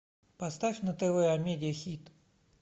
поставь на тв амедиа хит